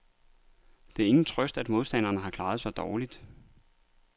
Det er ingen trøst, at modstanderen har klaret sig dårligt.